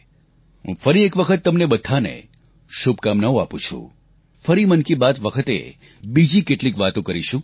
હું ફરી એક વખત તમને બધાને શુભકામનાઓ આપું છું ફરી મન કી બાત વખતે બીજી કેટલીક વાતો કરીશું